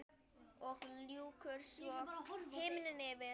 Og lýkur svo: Himinn yfir.